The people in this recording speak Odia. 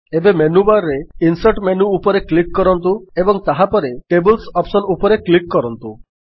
ଏବେ ମେନ୍ୟୁବାର୍ ରେ ଇନସର୍ଟ ମେନ୍ୟୁ ଉପରେ କ୍ଲିକ୍ କରନ୍ତୁ ଏବଂ ତାହାପରେ ଟେବଲ୍ସ ଅପ୍ସନ୍ ଉପରେ କ୍ଲିକ୍ କରନ୍ତୁ